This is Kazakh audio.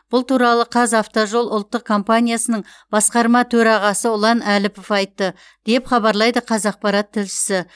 бұл туралы қазавтожол ұлттық компаниясының басқарма төрағасы ұлан әліпов айтты деп хабарлайды қазақпарат тілшісі